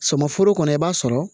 Sɔmi foro kɔnɔ i b'a sɔrɔ